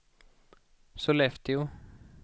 Sollefteå